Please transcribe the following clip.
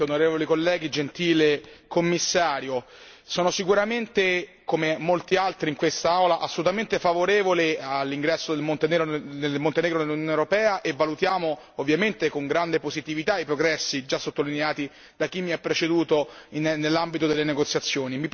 Signor Presidente, onorevoli colleghi, gentile Commissario, sono sicuramente, come molti altri in quest'Aula, assolutamente favorevole all'ingresso del Montenegro nell'Unione europea e valutiamo ovviamente con grande positività i progressi già sottolineati da chi mi ha preceduto nell'ambito delle negoziazioni.